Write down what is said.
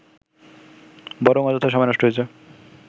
বরং অযথা সময় নষ্ট হয়েছে